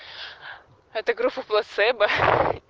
это группа плацебо